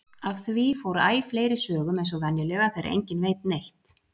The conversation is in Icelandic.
Af því fór æ fleiri sögum eins og venjulega þegar enginn veit neitt.